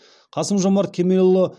қасым жомарт кемелұлы